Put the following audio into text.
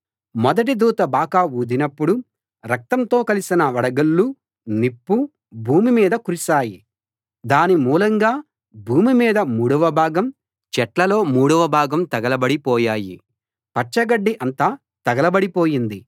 మొదటి దూత బాకా ఊదినప్పుడు రక్తంతో కలసిన వడగళ్ళూ నిప్పూ భూమి మీద కురిశాయి దాని మూలంగా భూమి మీద మూడవ భాగం చెట్లలో మూడవ భాగం తగలబడి పోయాయి పచ్చగడ్డి అంతా తగలబడిపోయింది